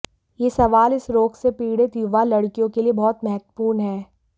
यह सवाल इस रोग से पीड़ित युवा लड़कियों के लिए बहुत महत्वपूर्ण है